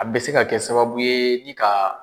A bɛ se ka kɛ sababu ye ni ka